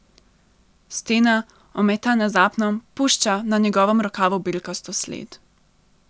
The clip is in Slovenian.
Stena, ometana z apnom, pušča na njegovem rokavu belkasto sled.